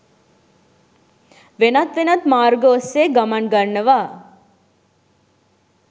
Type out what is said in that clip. වෙනත් වෙනත් මාර්ග ඔස්සේ ගමන් ගන්නවා.